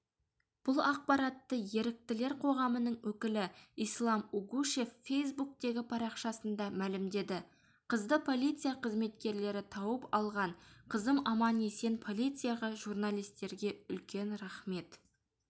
бұл ақпаратты еріктілер қоғамының өкілі ислам угушев фейсбуктегі парақшасында мәлімдеді қызды полиция қызметкерлері тауып алған қызым аман-есен полицияға журналистерге үлкен рахмет